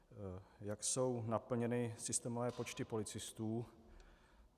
Jak jsou naplněny systémové počty policistů?